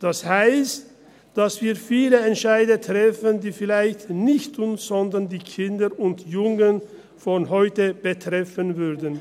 Das heisst, dass wir viele Entscheide treffen, die vielleicht nicht uns, sondern die Kinder und Jungen von heute betreffen würden.